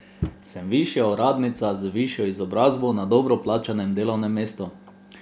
Sem višja uradnica, z višjo izobrazbo, na dobro plačanem delovnem mestu.